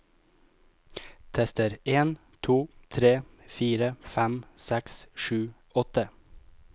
Tester en to tre fire fem seks sju åtte